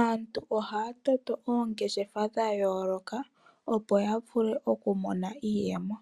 Aantu ohaya toto oongeshefa dhayooloka opo ya vule okumona iiyemo.